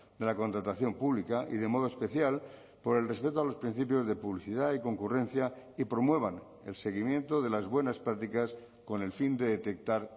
de la contratación pública y de modo especial por el respeto a los principios de publicidad y concurrencia y promuevan el seguimiento de las buenas prácticas con el fin de detectar